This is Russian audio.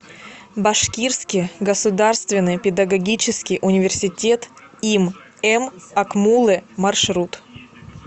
башкирский государственный педагогический университет им м акмуллы маршрут